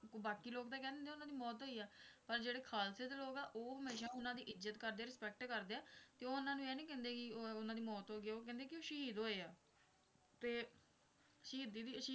ਬਾਕੀ ਲੋਕ ਤਾਂ ਕਹਿੰਦੇ ਉਨ੍ਹਾਂ ਦੀ ਮੌਤ ਹੋਈ ਹੈ ਪਰ ਜਿਹੜੇ ਖਾਲਸੇ ਦੇ ਲੋਕ ਹੈ ਉਹ ਹਮੇਸ਼ਾਂ ਉਨ੍ਹਾਂ ਦੀ ਇੱਜਤ ਕਰਦੇ ਹੈ ਸਤਿਕਾਰ ਕਰਦੇ ਹੈ ਤੇ ਉਹ ਉਨ੍ਹਾਂ ਨੂੰ ਇਹ ਨਹੀਂ ਕਹਿੰਦੇ ਕਿ ਉਨ੍ਹਾਂ ਦੀ ਮੌਤ ਹੋ ਗਈ ਹੈ ਉਹ ਕਹਿੰਦੇ ਕਿ ਉਹ ਸ਼ਹੀਦ ਹੋਏ ਹੈਂ ਤੇ ਸ਼ੀਹਦੀ ਦੀ ਸ਼ਹੀਦ ਦੀ ਉਪਾਧੀ ਦਿੰਦੇ